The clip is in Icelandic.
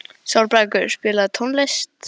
Sólbergur, spilaðu tónlist.